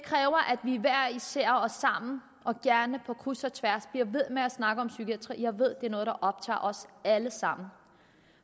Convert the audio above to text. vi hver især og sammen og gerne på kryds og tværs bliver ved med at snakke om psykiatri jeg ved er noget der optager os alle sammen